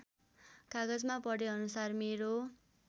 कागजमा पढेअनुसार मेरो